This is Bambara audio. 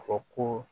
Fɔ ko